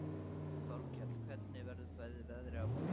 Þorkell, hvernig verður veðrið á morgun?